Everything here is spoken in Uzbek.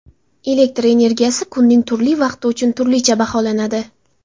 Elektr energiyasi kunning turli vaqti uchun turlicha baholanadi.